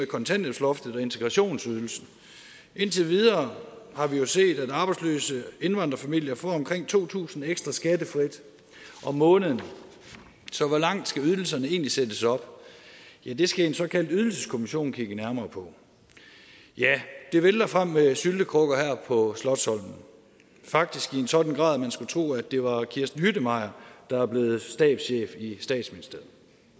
kontanthjælpsloftet og integrationsydelsen indtil videre har vi jo set at arbejdsløse indvandrerfamilier får omkring to tusind kroner ekstra skattefrit om måneden så hvor langt skal ydelserne egentlig sættes op ja det skal en såkaldt ydelseskommission kigge nærmere på ja det vælter frem med syltekrukker her på slotsholmen faktisk i en sådan grad at man skulle tro at det var kirsten hüttemeier der er blevet stabschef i statsministeriet